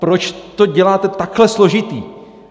Proč to děláte takhle složitý?